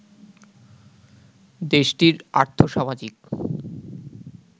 দেশটির আর্থ-সামাজিক